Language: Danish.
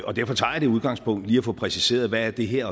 og derfor tager jeg det udgangspunkt lige at få præciseret hvad det her